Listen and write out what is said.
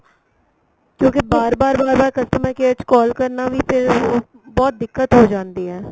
ਕਿਉਂਕਿ ਬਾਰ ਬਾਰ ਬਾਰ ਬਾਰ customer care ਚ call ਕਰਨਾ ਵੀ ਫ਼ਿਰ ਬਹੁਤ ਦਿੱਕਤ ਹੋ ਜਾਂਦੀ ਏ